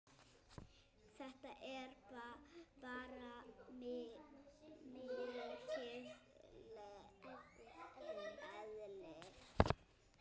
Þetta er bara mitt eðli.